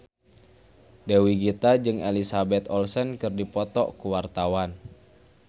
Dewi Gita jeung Elizabeth Olsen keur dipoto ku wartawan